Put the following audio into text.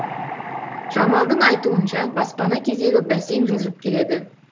жамалдың айтуынша баспана кезегі бәсең жылжып келеді